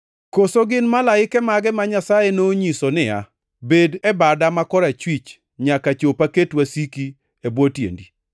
Koso gin malaike mage ma Nyasaye nonyiso niya, “Bed e bada ma korachwich, nyaka chop aket wasiki, e bwo tiendi”? + 1:13 \+xt Zab 110:1\+xt*